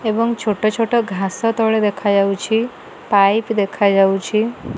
ଏବଂ ଛୋଟ ଛୋଟ ଘାସ ତଳେ ଦେଖାଯାଉଛି ପାଇପ୍ ଦେଖାଯାଉଛି।